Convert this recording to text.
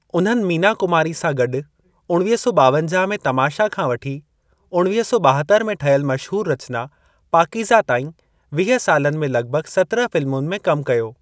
उन्हनि मीना कुमारी सां गॾु उणिवीह सौ ॿावंजाह में तमाशा खां वठी उणिवीह सौ ॿाहतर में ठहियलु मशहूर रचना पाक़ीजा ताईं वीह सालनि में लगि॒भगि॒ सत्रहनि फ़िल्मुनि में कम कयो।